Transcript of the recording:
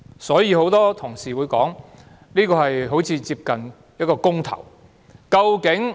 所以，很多同事會說，這次選舉非常接近一次公投。